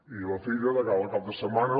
i la filla de cara al cap de setmana